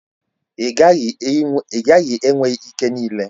Ị gaghị enwe ike niile.